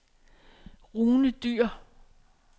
Rune Dyhr